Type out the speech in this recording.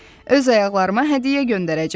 Öz ayaqlarıma hədiyyə göndərəcəm.